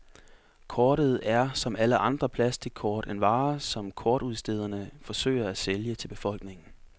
Kortet er, som alle andre plastickort, en vare, som kortudstederne forsøger at sælge til befolkningen.